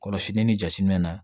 Kɔlɔsi ni jatiminɛ